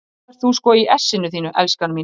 Og þá ert þú sko í essinu þínu, elskan mín!